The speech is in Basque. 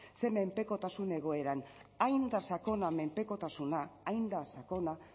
ze menpekotasun egoeran hain da sakona menpekotasuna hain da sakona